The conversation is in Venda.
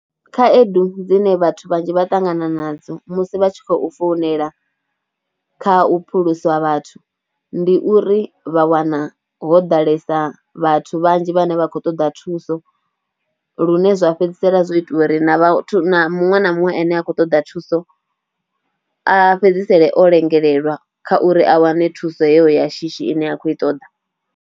Khaedu dzine vhathu vhanzhi vha ṱangana nadzo musi vha tshi khou founela kha u phulusa vhathu ndi uri vha wana ho ḓalesa vhathu vhanzhi vhane vha khou ṱoḓa thuso lune zwa fhedzisela zwo itiwa uri na vhathu, na muṅwe na muṅwe ane a khou ṱoḓa thuso a fhedzisele o lengelelwa kha uri a wane thuso heyo ya shishi ine a khou i ṱoḓa.